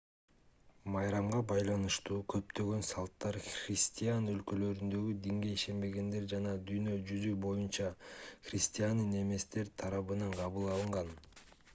майрамга байланыштуу көптөгөн салттар христиан өлкөлөрүндөгү динге ишенбегендер жана дүйнө жүзү боюнча христиан эместер тарабынан кабыл алынган